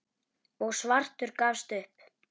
og svartur gafst upp.